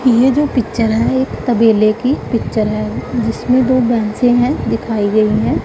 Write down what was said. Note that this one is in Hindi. ये जो पिक्चर है एक तबेले की पिक्चर है जिसमें दो भैंसे हैं दिखाई गई हैं।